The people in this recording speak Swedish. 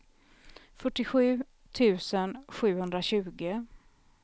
fyrtiosju tusen sjuhundratjugo